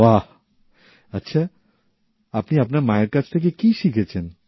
বাহ আচ্ছা আপনি আপনার মায়ের কাছ থেকে কী শিখছেন